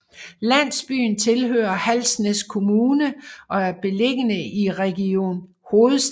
Landsbyen tilhører Halsnæs Kommune og er beliggende i Region Hovedstaden